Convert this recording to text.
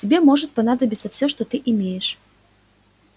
тебе может понадобиться все что ты имеешь